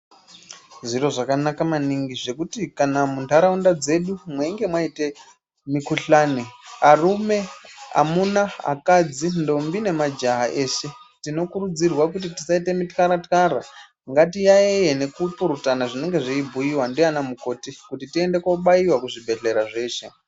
Zviro zvakanaka maningi zvekuti kana mundaraunda dzedu kana meinga maira mikuhlani amuna varume vakadzi ndombi ine majaha eshe tinokurudzirwa tisaita mitkara tkara nekupurutana zvinenge zveibhuiwa nana mukoti tiende kobaiwa kuzvibhedhlera zveshe.